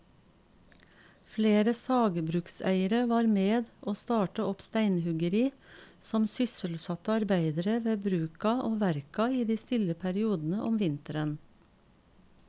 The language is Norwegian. Flere sagbrukseiere var med å starte opp steinhuggeri som sysselsatte arbeidere ved bruka og verka i de stille periodene om vinteren.